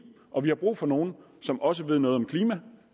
og vi har brug for nogle som også ved noget om klima